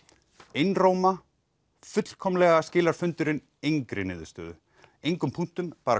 einróma fullkomlega skilar fundurinn engri niðurstöðu engum punkti bara